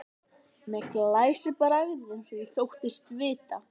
Með glæsibrag eins og ég þóttist vita.